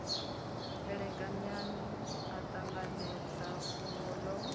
elekanyani a ṱanganedza fhungo ḽo